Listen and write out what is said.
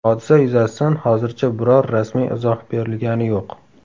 Hodisa yuzasidan hozircha biror rasmiy izoh berilgani yo‘q.